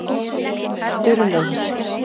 Sturlaugur